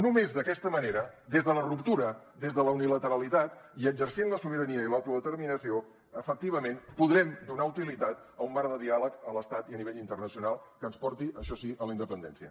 només d’aquesta manera des de la ruptura des de la unilateralitat i exercint la sobirania i l’autodeterminació efectivament podrem donar utilitat a un marc de diàleg a l’estat i a nivell internacional que ens porti això sí a la independència